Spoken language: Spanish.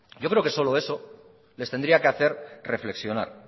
yo creo que solo eso les tendría que hacer reflexionar